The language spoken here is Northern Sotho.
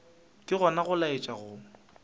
ke gona go laetša go